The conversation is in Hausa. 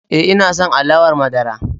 E, ina son alawar madara.